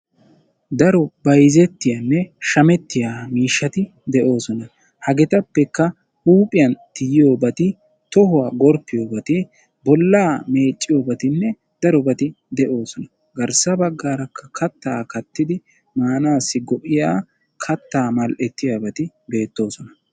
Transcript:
daro bayzzetiyaanne shammetiyaa miishshati de'oosona. hagetappekka huuphiya tiyiyoobati, tohuwaa gorppiyobati bolla meecciyoobatinne darobati de'oosona. garssa baggara katta kattid gorppiyobati darobati de'oosona.